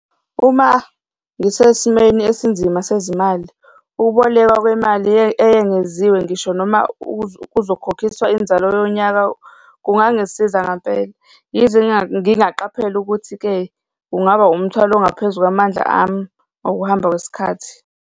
Uma ngisesimeni esinzima sezimali, ukubolekwa kwemali eyengeziwe ngisho noma uzokhokhiswa inzalo yonyaka, kungangisiza ngampela, yize ngingaqaphela ukuthi-ke kungaba umthwalo ongaphezu kwamandla ami ngokuhamba kwesikhathi.